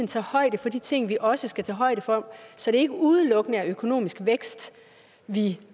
tager højde for de ting vi også skal tage højde for så det ikke udelukkende er økonomisk vækst vi